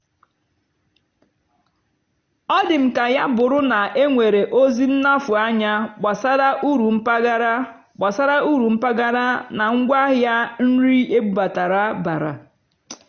ọ́ dì́ m kà yá bụ́rụ́ ná énwèrè ózì nnàfụ́ ányá gbàsàrà ùrù mpàgàrà gbàsàrà ùrù mpàgàrà nà ngwáàhịá nrì ébúbátàrá bàrà.